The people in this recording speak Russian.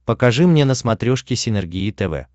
покажи мне на смотрешке синергия тв